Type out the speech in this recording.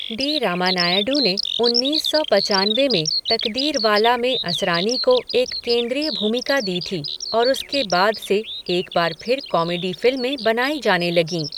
D Ramanaidu ने उनीस सौ पचानवे में 'तकदीरवाला' में असरानी को एक केंद्रीय भूमिका दी थी और उसके बाद से एक बार फिर कॉमेडी फिल्में बनाई जाने लगीं।